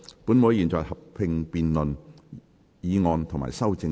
本會現在合併辯論議案及修正案。